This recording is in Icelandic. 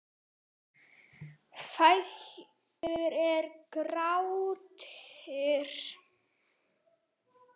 Fætur eru gráir.